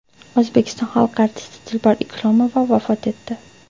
O‘zbekiston xalq artisti Dilbar Ikromova vafot etdi.